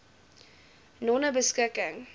nonebeskikking